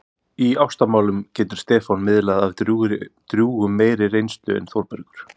Í ástamálum getur Stefán miðlað af drjúgum meiri reynslu en Þórbergur.